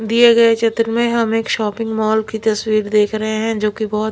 दिए गए चत्र में हम एक शॉपिंग मॉल की तस्वीर देख रहे है जो कि बहुत--